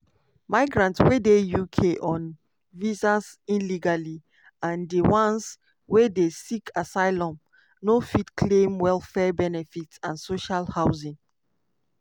migrants wey dey uk on visas illegally and di ones wey dey seek asylum no fit claim welfare benefits and social housing.